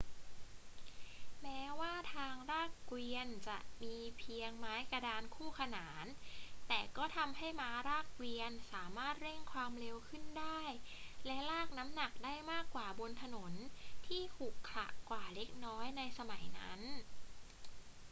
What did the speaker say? แม้ว่าทางลากเกวียนจะมีเพียงไม้กระดานคู่ขนาน แต่ก็ทำให้ม้าลากเกวียนสามารถเร่งความเร็วขึ้นได้และลากน้ำหนักได้มากกว่าบนถนนที่ขรุขระกว่าเล็กน้อยในสมัยนั้น